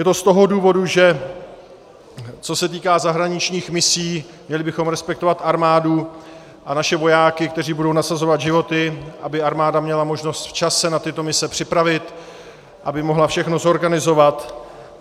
Je to z toho důvodu, že co se týká zahraničních misí, měli bychom respektovat armádu a naše vojáky, kteří budou nasazovat životy, aby armáda měla možnost včas se na tyto mise připravit, aby mohla všechno zorganizovat.